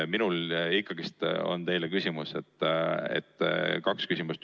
Minul on ikkagi teile küsimus, õigemini kaks küsimust.